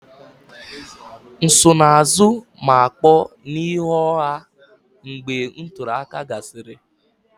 Nsonaazụ ma kpọọ n'ihu ọha mgbe ntuli aka gasịrị